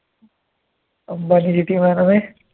Ambani